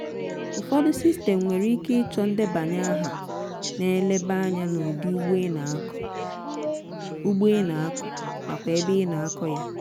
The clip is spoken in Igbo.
ufọdu sistem nwere ike ịchọ ndebanye aha na-eleba anya n'ụdi ugbo ị na-akọ ugbo ị na-akọ nakwa ebe ị na-akọ ya